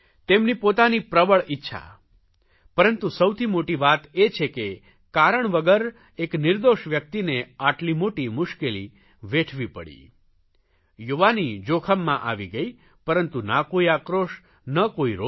તેમની પોતાની પ્રબળ ઇચ્છા પરંતુ સૌથી મોટી વાત એ છે કે કારણ વગર એક નિર્દોષ વ્યકિતને આટલી મોટી મુશ્કેલી વેઠવી પડી યુવાની જોખમમાં આવી ગઇ પરંતુ ના કોઇ આક્રોશ ન કોઇ રોષ